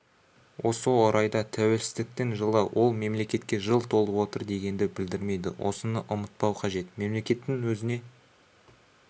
осы орайда тәуелсіздіктің жылы ол мемлекетке жыл толып отыр дегенді білдірмейді осыны ұмытпау қажет мемлекеттің өзіне